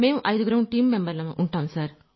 మేం ఐదుగురం టీమ్ మెంబర్లం